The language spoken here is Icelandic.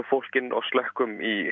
fólk inn og slökkvum í